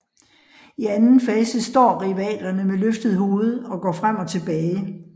I anden fase står rivalerne med løftet hoved og går frem og tilbage